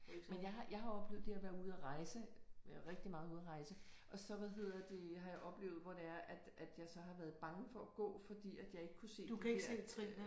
Men jeg har jeg har oplevet det at være ude at rejse rigtig meget ude at rejse og så hvad hedder det har jeg oplevet hvor det er at at jeg så har været bange for at gå fordi at jeg ikke kunne se de der